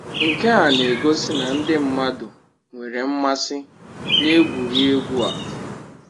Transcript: Nke a na-egosi na ndị mmadụ nwere mmasị na egwuregwu a